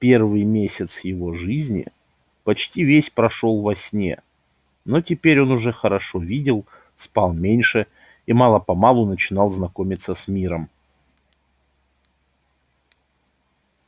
первый месяц его жизни почти весь прошёл во сне но теперь он уже хорошо видел спал меньше и мало помалу начинал знакомиться с миром